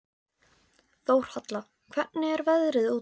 Þórhalla, hvernig er veðrið úti?